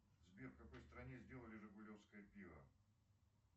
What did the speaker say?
сбер в какой стране сделали жигулевское пиво